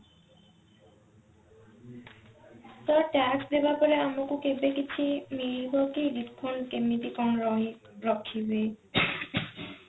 ତ tax ଦେବା ପରେ ଆମକୁ କେବେ କିଛି ମିଳିବ କି refund କେମିତି କଣ ରହି ରଖିବେ